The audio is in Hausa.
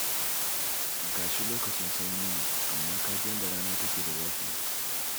Ga shi lokacin sanyi ne, amma ka ji yadda rana take da zafi?